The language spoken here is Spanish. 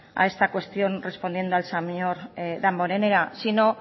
a esta cuestión respondiendo al señor damborenea si no